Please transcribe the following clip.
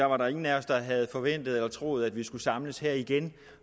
var der ingen af os der havde forventet eller troet at vi skulle samles her igen